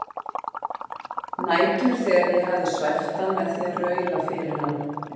Nætur þegar ég hafði svæft hann með því að raula fyrir hann